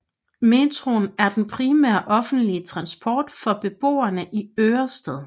Metroen er den primære offentlige transport for beboerne i Ørestad